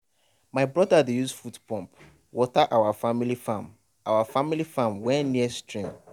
my brother dey use foot pump water our family farm our family farm wey near stream.